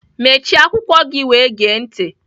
Mechie akwụkwọ gị wee gee ntị!